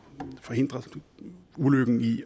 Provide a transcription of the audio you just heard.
at forhindre ulykken i